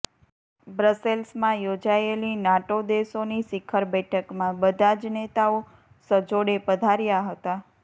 બ્રસેલ્સમાં યોજાયેલી નાટો દેશોની શીખર બેઠકમાં બધા જ નેતાઓ સજોડે પધાર્યા હતાં